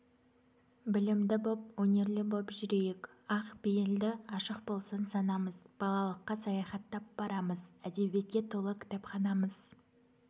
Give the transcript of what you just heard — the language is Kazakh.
білімді боп өнерлі боп жүрейік ақ пейілді ашық болсын санамыз балалыққа саяхаттап барамыз әдебиетке толы кітапханамыз